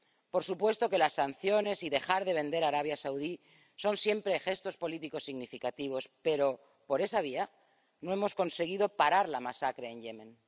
por supuesto que las sanciones y dejar de vender a Arabia Saudí son siempre gestos políticos significativos, pero, por esa vía, no hemos conseguido parar la masacre en Yemen.